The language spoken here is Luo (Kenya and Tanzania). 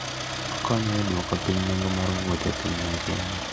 Okonyo e duoko piny nengo mar wuoth e piny mangima.